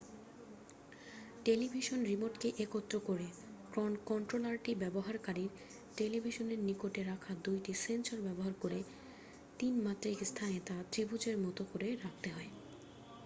television রিমোটকে একত্র করে কন্ট্রোলারটি ব্যবহারকারীর টেলিভিশনের নিকটে রাখা 2 টি সেন্সর ব্যবহার করে 3-মাত্রিক স্থানে তা ত্রিভুজের মত করে রাখতে হয়